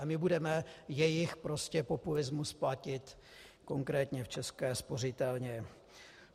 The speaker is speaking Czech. A my budeme jejich populismus platit konkrétně v České spořitelně.